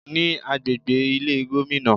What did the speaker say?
Ní agbègbè Ilé Gómìnà